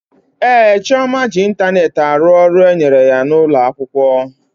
Ee, Chioma ji ịntanetị arụ ọrụ e nyere ya n'ụlọ akwụkwọ